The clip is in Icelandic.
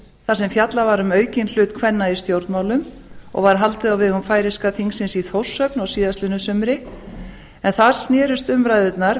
þar sem fjallað var um aukinn hlut kvenna í stjórnmálum og var haldið á vegum færeyska þingsins í þórshöfn á síðastliðnu sumri en þar snerust umræðurnar